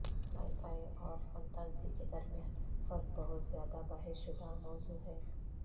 sky fi اور fantasy کے درمیان فرق بہت زیادہ بحث شدہ موضوع ہے